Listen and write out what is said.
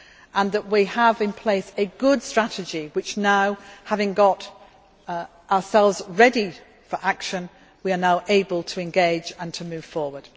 Furthermore, we have in place a good strategy which, having got ourselves ready for action, we are now able to engage and to move forward.